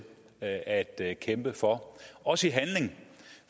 at at kæmpe for også i handling